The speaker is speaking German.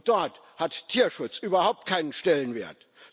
Dort hat Tierschutz überhaupt keinen Stellenwert.